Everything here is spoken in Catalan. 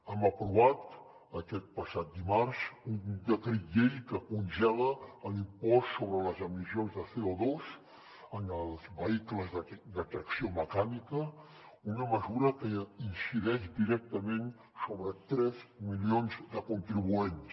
hem aprovat aquest passat dimarts un decret llei que congela l’impost sobre les emissions de co2 en els vehicles de tracció mecànica una mesura que incideix directament sobre tres milions de contribuents